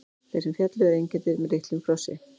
Þeir sem féllu eru einkenndir með litlum krossi.